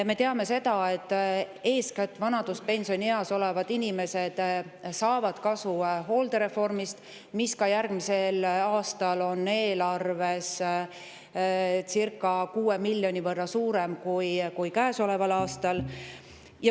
Me teame, et vanaduspensionieas olevad inimesed on eeskätt need, kes saavad kasu hooldereformist, milleks järgmisel aastal on eelarves circa 6 miljoni võrra suurem kui käesoleval aastal.